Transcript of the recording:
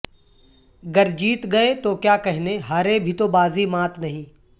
گر جیت گئے تو کیا کہنے ہارے بھی تو بازی مات نہیں